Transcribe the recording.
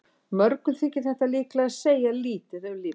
Mörgum þykir þetta líklega segja lítið um líf mannsins.